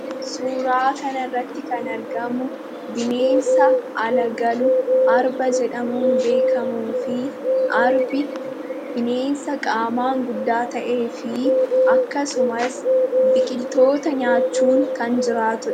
Suuraa kana irratti kan argamu bineensa ala galu, "arba" jedhamuun beekamuufi arbi bineensa qaamaan guddaa ta'eefi akkasumas biqiltoota nyaachuun kan jiraatudha.